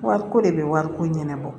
Wariko de bɛ wariko ɲɛnabɔ